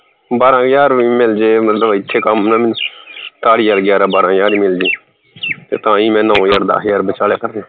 ਬਾਰਾਂ ਹਜਾਰ ਵੀ ਮਿਲ ਵੀ ਜੇ ਮਤਲਬ ਇਥੇ ਕੰਮ ਨਾ ਮੈਨੂੰ ਕਾਹਲੀ ਆ ਗਿਆਰਾਂ ਬਾਰਾਂ ਹਜਾਰ ਈ ਮਿਲ ਜੇ ਤੇ ਤਾ ਹੀ ਮੈਂ ਨੌ ਹਜਾਰ ਦਹ ਹਜਾਰ ਬਚਾ ਲਿਆ ਕਰਾ